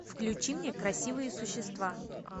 включи мне красивые существа